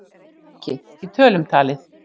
En hve mikið, í tölum talið?